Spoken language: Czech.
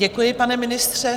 Děkuji, pane ministře.